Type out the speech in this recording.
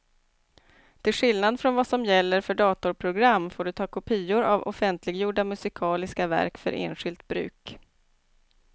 Till skillnad från vad som gäller för datorprogram får du ta kopior av offentliggjorda musikaliska verk för enskilt bruk.